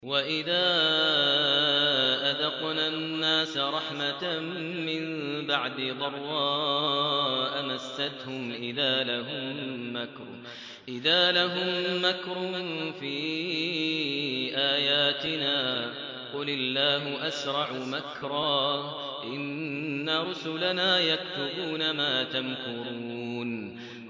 وَإِذَا أَذَقْنَا النَّاسَ رَحْمَةً مِّن بَعْدِ ضَرَّاءَ مَسَّتْهُمْ إِذَا لَهُم مَّكْرٌ فِي آيَاتِنَا ۚ قُلِ اللَّهُ أَسْرَعُ مَكْرًا ۚ إِنَّ رُسُلَنَا يَكْتُبُونَ مَا تَمْكُرُونَ